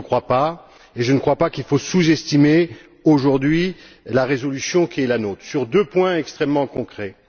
Je ne le crois pas et je ne crois pas qu'il faille sous estimer aujourd'hui la résolution qui est la nôtre sur deux points extrêmement concrets.